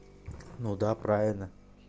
ну да правильно